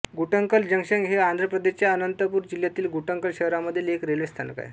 Guntakal junction हे आंध्र प्रदेशच्या अनंतपूर जिल्ह्यातील गुंटकल शहरामधील एक रेल्वे स्थानक आहे